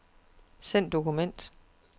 Send dokument.